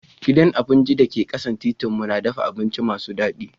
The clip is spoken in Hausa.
Gidan abinci da ke kasan titin mu na dafa abinci masu dadi.